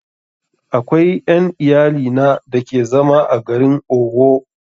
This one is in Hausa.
Akwai ƴan iyalina da ke zama a garin Owo